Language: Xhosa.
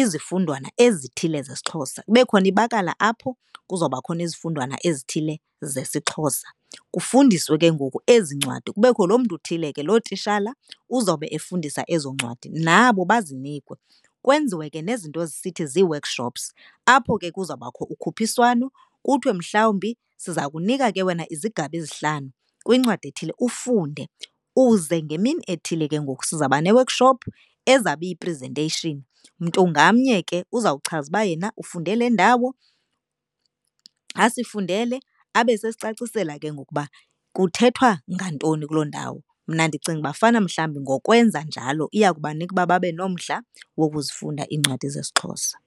izifundwana ezithile zesiXhosa kube khona ibakala apho kuzawuba khona izifundwana ezithile zesiXhosa. Kufundiswe ke ngoku ezi ncwadi kubekho loo mntu uthile ke, loo tishala uzawube efundisa ezo ncwadi nabo bazinikwe. Kwenziwe ke nezinto zisithi zii-workshops apho ke kuzawubakho ukhuphiswano kuthiwe mhlawumbi siza kunika ke wena izigaba ezihlanu kwincwadi ethile ufunde. Uze ngemini ethile ke ngoku sizaba ne-workshop ezawube iyi-presentation. Mntu ngamnye ke uzawuchaza uba yena ufunde le ndawo, asifundele abe sesicacisela ke ngoku ukuba kuthethwa ngantoni kuloo ndawo. Mna ndicinga uba fanuba mhlawumbi ngokwenza njalo iyawubanika ukuba babe nomdla wokuzifunda iincwadi zesiXhosa.